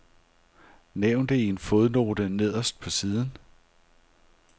Nævn det i en fodnote nederst på siden.